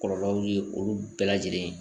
Kɔlɔlɔw ye olu bɛɛ lajɛlen ye